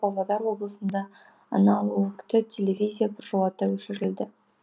павлодар облысында аналогты телевизия біржолата өшірілді